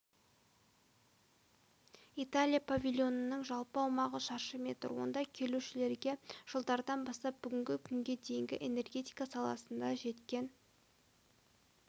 италия павильонының жалпы аумағы шаршы метр онда келушілерге жылдардан бастап бүгінгі күнге дейінгі энергетика саласында жеткен